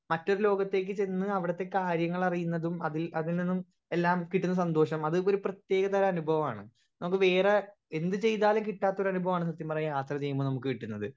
speaker 1 മറ്റൊരു ലോകത്തേക്ക് ചെന്ന് അവിടത്തെ കാര്യങ്ങൾ അറിയുന്നതും അതിൽ അതിനിന്നും എല്ലാം കിട്ടുന്ന സന്തോഷം അത് ഇതൊരു പ്രേതെക അനുഭവമാണ് നമ്മുക്ക് വേറെ എന്ത് ചെയ്താലും കിട്ടാത്തൊരു അനുഭവാണ് നമ്മുക്ക് വേറെ എന്ത് ചെയ്താലും കിട്ടാത്തൊരു അനുഭവാണ് സത്യം പറയാ യാത്ര ചെയ്യുമ്പോ നമ്മുക്ക് കിട്ടുന്നത്